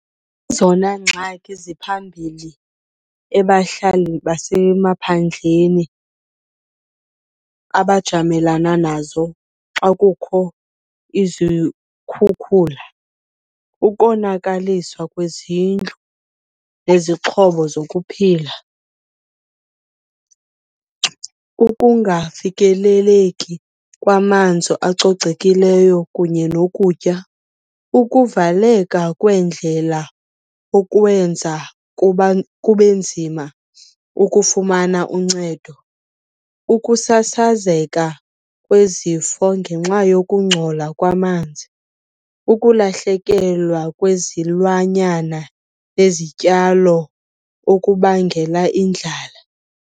zona ngxaki ziphambili ebahlalini basemaphandleni abajamelana nazo xa kukho izikhukhula. Ukonakaliswa kwezindlu nezixhobo zokuphila, ukungafikeleleki kwamanzi acocekileyo kunye nokutya. Ukuvaleka kweendlela okwenza kube nzima ukufumana uncedo. Ukusasazeka kwezifo ngenxa yokungcola kwamanzi. Ukulahlekelwa kwezilwanyana nezityalo okubangela indlala.